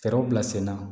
Fɛɛrɛw bila senna